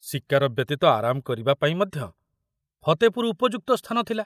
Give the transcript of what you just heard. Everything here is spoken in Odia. ଶିକାର ବ୍ୟତୀତ ଆରାମ କରିବା ପାଇଁ ମଧ୍ୟ ଫତେପୁର ଉପଯୁକ୍ତ ସ୍ଥାନ ଥିଲା।